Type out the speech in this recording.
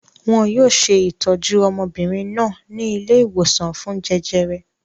Wọn yóò ṣe ìtọ́jú ọmọbìnrin náà ní ilé-ìwòsàn fún jẹjẹrẹ.